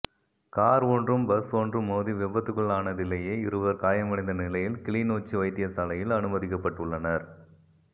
car ஒன்றும் bus ஒன்றும் மோதி விபத்துக்குள்ளானதிலேயே இருவர் காயமடைந்தநிலையில் கிளிநொச்சி வைத்தியசாலையில் அனுமதிக்கப்பட்டுள்ளனர்